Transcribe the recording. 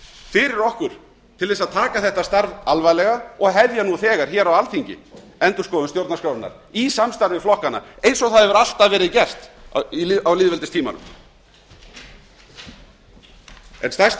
fyrir okkur til að taka þetta starf alvarlega og hefja nú þegar á alþingi endurskoðun stjórnarskrárinnar í samstarfi við flokkana eins og það hefur alltaf verið gert á lýðveldistímanum en stærsta